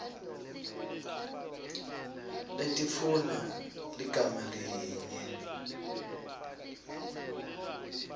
letifuna ligama linye